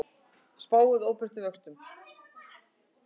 Spáir óbreyttum vöxtum